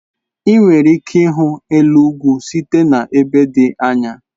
Ị nwere ike ịhụ elu ugwu site n'ebe dị anya.